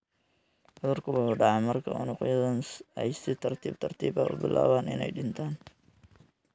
Cudurku wuxuu dhacaa marka unugyadan ay si tartiib tartiib ah u bilaabaan inay dhintaan.